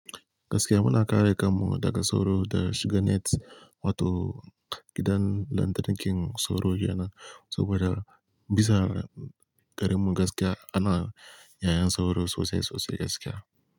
Gaskiya muna kare kammu daga sauro da shiganet wato gidan lantarkin sauro girma sabo da bisa garimmu gaskiya ana yayin sauro sosai sosai gaskiya.